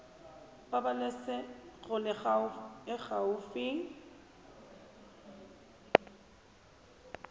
pabalesego loago e e gaufi